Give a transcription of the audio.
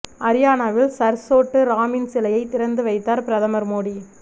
அரியானாவில் sir Chhotu ராமின் சிலையை திறந்து வைத்தார் பிரதமர் மோடி